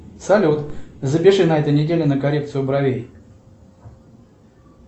салют запиши на этой неделе на коррекцию бровей